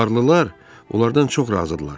Varlılar onlardan çox razıdırlar.